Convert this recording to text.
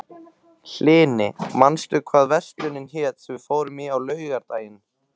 Hlini, manstu hvað verslunin hét sem við fórum í á laugardaginn?